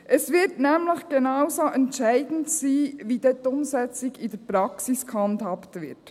Es wird nämlich genauso entscheidend sein, wie dann die Umsetzung in der Praxis gehandhabt wird.